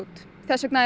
þess vegna